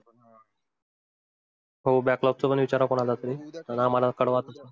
हो baklog पण विचारा कोणालातरी आम्हाला कळवा तस